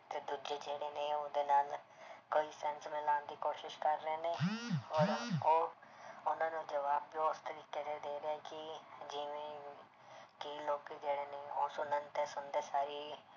ਤੇ ਦੂਜੇ ਜਿਹੜੇ ਨੇ ਉਹਦੇ ਨਾਲ ਕੋਈ sense ਮਿਲਾਉਣ ਦੀ ਕੋਸ਼ਿਸ਼ ਕਰ ਰਹੇ ਨੇ ਔਰ ਉਹ ਉਹਨਾਂ ਨੂੰ ਜਵਾਬ ਵੀ ਉਸ ਤਰੀਕੇ ਦੇ ਰਹੇ ਕਿ ਜਿਵੇਂ ਕਿ ਲੋਕ ਜਿਹੜੇ ਨੇ ਉਹ ਸੁਣਨ ਤੇ ਸੁਣਦੇ ਸਾਰ ਹੀ